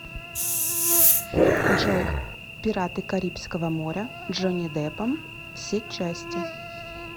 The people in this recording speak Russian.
джой пираты карибского моря джонни деппом все части